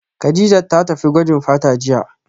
Kadijat ta tafi gwajin fata jiya